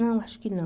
Não, acho que não.